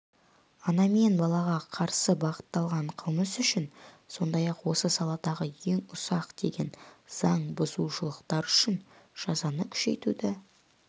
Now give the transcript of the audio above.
ана мен балаға қарсы бағытталған қылмыс үшін сондай-ақ осы саладағы ең ұсақ деген заңбұзушылықтар үшін жазаны күшейтуді